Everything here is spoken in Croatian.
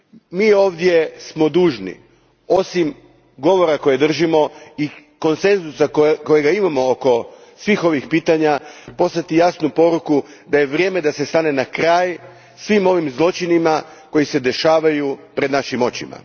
Mi smo ovdje dužni, osim govora koje držimo i konsenzusa kojega imamo oko svih ovih pitanja, poslati jasnu poruku da je vrijeme da se stane na kraj svim ovim zločinima koji se događaju pred našim očima.